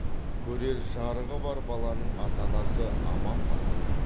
көрер жарығы бар баланың ата анасы аман ба